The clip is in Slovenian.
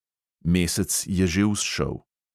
Mesec je že vzšel.